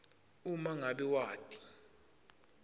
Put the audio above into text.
uma ngabe wati